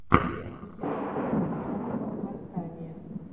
у тебя будет трон восстание